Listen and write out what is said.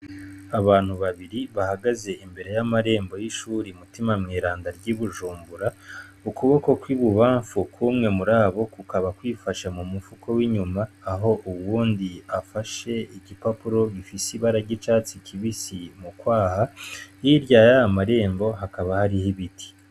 Abantu babiri bahagaze imbere y'amarembo y'ishure Mutima-Mweranda ry'Ibujumbura ,ukuboko kw'ibubanfu k'umwe murabo kukaba kwifashe mu mufuko w'inyuma aho uwundi afashe igipapuro gifise ibara ry'icatsi kibisi mu kwaha, hirya yayo marembo hakaba hariho ibiti.